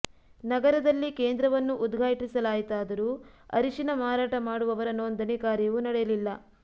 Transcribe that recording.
ನಗರದಲ್ಲಿ ಕೇಂದ್ರವನ್ನು ಉದ್ಘಾಟಿಸಲಾಯಿತಾದರೂ ಅರಿಶಿನ ಮಾರಾಟ ಮಾಡುವವರ ನೋಂದಣಿ ಕಾರ್ಯವೂ ನಡೆಯಲಿಲ್ಲ